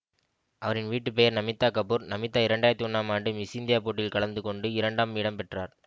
அவரின் வீட்டுப்பெயர் நமிதா கபூர் நமிதா இரண்டு ஆயிரத்தி ஒன்னாம் ஆண்டு மிஸ்இந்தியா போட்டியில் கலந்து கொண்டு இரண்டாம் இடம் பெற்றார்